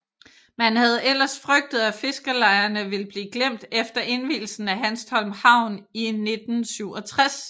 Man havde ellers frygtet at fiskerlejerne ville blive glemt efter indvielsen af Hanstholm Havn i 1967